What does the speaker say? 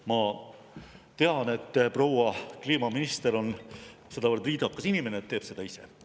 Ma tean, et proua kliimaminister on sedavõrd viisakas inimene, et teeb seda ise.